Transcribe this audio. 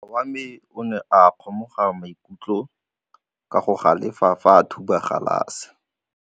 Morwa wa me o ne a kgomoga maikutlo ka go galefa fa a thuba galase.